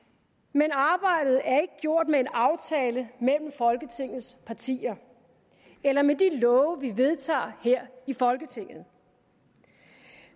men arbejdet er ikke gjort med en aftale mellem folketingets partier eller med de love vi vedtager her i folketinget